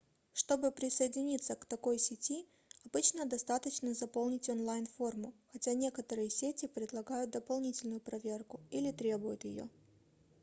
чтобы присоединиться к такой сети обычно достаточно заполнить онлайн-форму хотя некоторые сети предлагают дополнительную проверку или требуют ее